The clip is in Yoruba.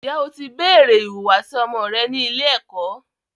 Ǹjẹ́ o ti béèrè ìwùwàsí ọmọ rẹ ní ilé-ẹ̀kọ́.